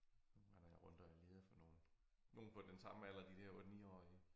Nu render jeg rundt og er leder for nogle nogle på den samme alder de der 8 niårige